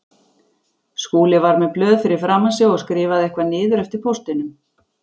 Skúli var með blöð fyrir framan sig og skrifaði eitthvað niður eftir póstinum.